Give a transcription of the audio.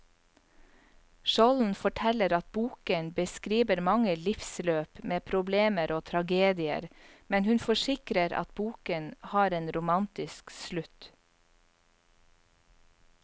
Skjolden forteller at boken beskriver mange livsløp med problemer og tragedier, men hun forsikrer at boken har en romantisk slutt.